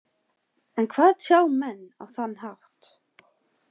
En hvað tjá menn á þann hátt?